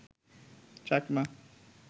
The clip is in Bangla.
চাকমা